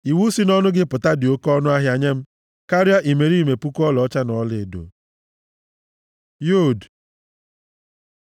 Iwu si nʼọnụ gị pụta dị oke ọnụahịa nye m karịa imerime puku ọlaọcha na ọlaedo. י Yod